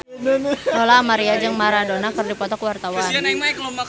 Lola Amaria jeung Maradona keur dipoto ku wartawan